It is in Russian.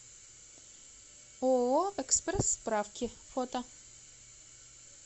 ооо экспресс справки фото